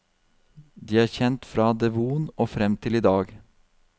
De er kjent fra devon og frem til i dag.